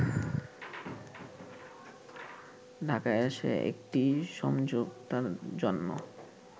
ঢাকায় এসে একটি সমঝোতার জন্য